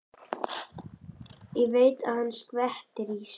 Ég veit að hann skvettir í sig.